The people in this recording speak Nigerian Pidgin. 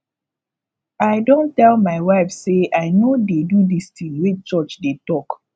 i don tell my wife say i no dey do dis thing wey church dey talk